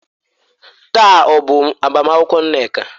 Taa ọ bụ agbamakwụkwọ Nneka?